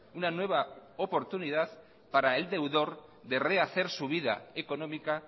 de rehacer su vida económica